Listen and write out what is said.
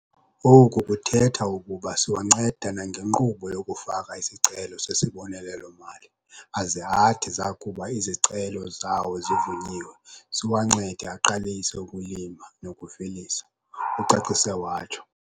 Oku kuthetha ukuba siyawanceda nangenkqubo yokufaka isicelo sesibonelelo-mali aze athi zakuba izicelo zawo zivunyiwe, siwancede aqalise ukulima nokuvelisa," ucacise watsho.